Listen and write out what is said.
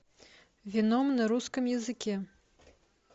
веном на русском языке